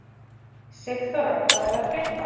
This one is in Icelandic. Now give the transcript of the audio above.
Sigþóra, hvað er að frétta?